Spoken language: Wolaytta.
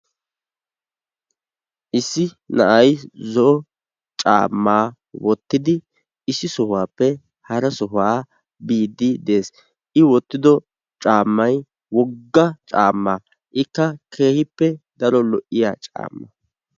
issi na'ay zo'o caammaa woottidi issi sohuwaappe hara sohuwaa biidi de'ees. i woottido caammay wogga caammaa. ikka keehippe daro lo'iyaa caamma.